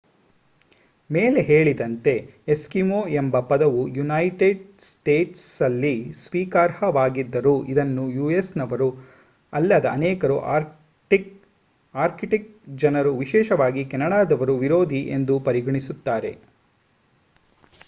ಮೇಲೆ ಹೇಳಿದಂತೆ ಎಸ್ಕಿಮೋ ಎಂಬ ಪದವು ಯುನೈಟೆಡ್ ಸ್ಟೇಟ್ಸ್ನಲ್ಲಿ ಸ್ವೀಕಾರಾರ್ಹವಾಗಿದ್ದರೂ ಇದನ್ನು ಯುಎಸ್‌ನವರು ಅಲ್ಲದ ಅನೇಕರು ಆರ್ಕ್ಟಿಕ್ ಜನರು ವಿಶೇಷವಾಗಿ ಕೆನಡಾದವರು ವಿರೋಧಿ ಎಂದು ಪರಿಗಣಿಸುತ್ತಾರೆ